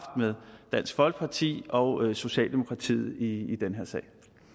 med dansk folkeparti og socialdemokratiet i den her sag